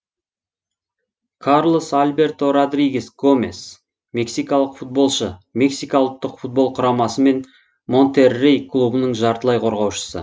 карлос альберто родригес гомес мексикалық футболшы мексика ұлттық футбол құрамасы мен монтеррей клубының жартылай қорғаушысы